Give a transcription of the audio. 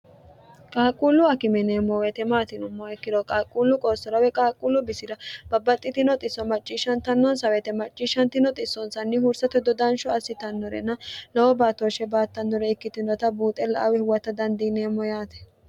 qaaqquullu akime yineemmo woyete maati yinummoha ikkiro qaaqquullu qoossora woy qaaqquullu bisira babbaxxitino xisso macciishshantannonsa woyete macciishshantino xissoonsanni huursate dodansho assitannorena lowo baattooshshe baattannore ikkitinota buuxe la'awi huwatta dandiineemmo yaate.